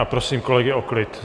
A prosím kolegy o klid!